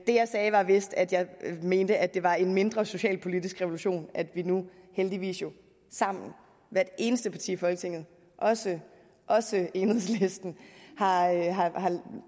jeg sagde var vist at jeg mente at det var en mindre socialpolitisk revolution at vi nu heldigvis sammen hvert eneste parti i folketinget også også enhedslisten har